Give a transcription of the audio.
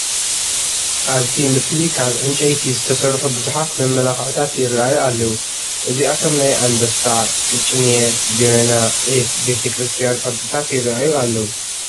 ኣብቲ ምስሊ ካብ ዕንጨይቲ ዝተሰርሑ ብዙሓት መመላክዕታት ይርአዩ ኣለዉ፡፡ እዚኣቶም ናይ ኣንበሳ፣ ቅጭኔ፣ ጀበና፣ ዒፍ፣ ቤተ ክርስቲያን ቅርፅታት ይርአዩ ኣለዉ፡፡